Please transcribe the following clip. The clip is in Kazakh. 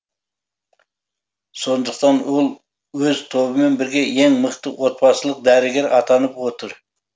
сондықтан ол өз тобымен бірге ең мықты отбасылық дәрігер атанып отыр